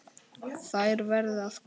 Þær verði að koma til.